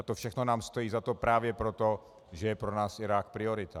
A to všechno nám stojí za to právě proto, že je pro nás Irák priorita.